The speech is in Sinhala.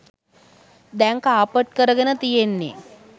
දැන් කාපට් කරගෙන තියෙන්නෙ.